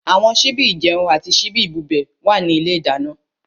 Àwọn síbí ìjẹun àti síbí ìbubẹ̀ wà ní ilé ìdáná.